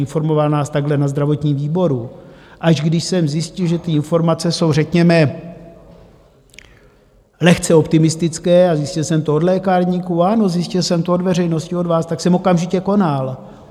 Informoval nás takhle na zdravotním výboru, Až když jsem zjistil, že ty informace jsou řekněme lehce optimistické, a zjistil jsem to od lékárníků, ano, zjistil jsem to od veřejnosti, od vás, tak jsem okamžitě konal.